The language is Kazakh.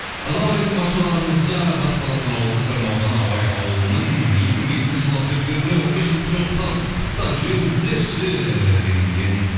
ассалаумағалейкум баршаларыңызға батыс қазақстан облысы сырым ауданы науаи ауылының екі мың бесінші жылғы түлектеріне он бес жылдықпен құттықтап жіберіңіздерші деген екен